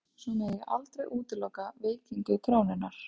Svo megi aldrei útiloka veikingu krónunnar